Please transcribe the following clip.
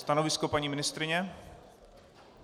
Stanovisko paní ministryně?